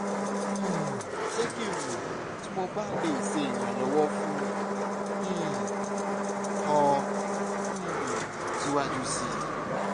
um jẹ ki n mọ ti mo ba le ṣe iranlọwọ fun um ọ um siwaju sii